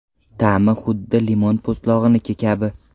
Ta’mi huddi limon po‘stlog‘iniki kabi.